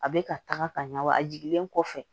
A bɛ ka taga ka ɲa wa a jiginlen kɔfɛ